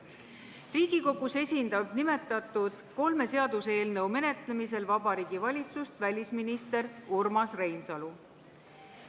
Riigikogus esindab nimetatud kolme seaduseelnõu menetlemisel Vabariigi Valitsust välisminister Urmas Reinsalu.